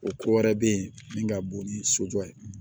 O ko wɛrɛ be yen min ka bon ni sojɔ ye